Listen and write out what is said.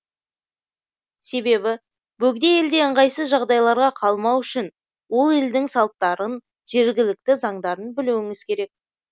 себебі бөгде елде ыңғайсыз жағдайларға қалмау үшін ол елдің салттарын жергілікті заңдарын білуіңіз керек